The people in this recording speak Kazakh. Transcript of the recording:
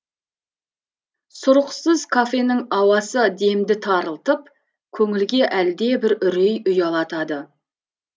сұрықсыз кафенің ауасы демді тарылтып көңілге әлдебір үрей ұялатады